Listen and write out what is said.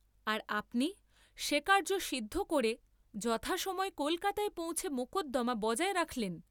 আর আপনি সে কার্য্য সিদ্ধ করে যথাসময়ে কলকাতায় পৌঁছে মকদ্দামা বজায় রাখলেন?